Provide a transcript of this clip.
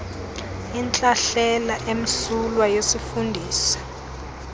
intlahlela emsulwa yesifundisi